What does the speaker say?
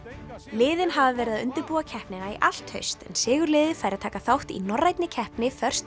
liðin hafa verið að undirbúa keppnina í allt haust en sigurliðið fær að taka þátt í norrænni keppni